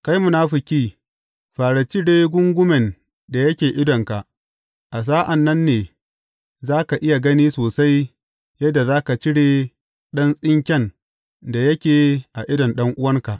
Kai munafuki, fara cire gungumen da yake idonka, a sa’an nan ne za ka iya gani sosai yadda za ka cire ɗan tsinken da yake a idon ɗan’uwanka.